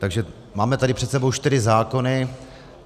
Takže máme tady před sebou čtyři zákony.